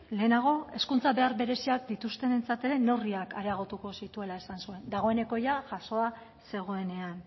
lehenago hezkuntza behar bereziak dituztenentzat ere neurriak areagotuko zituela esan zuen dagoeneko jasoa zegoenean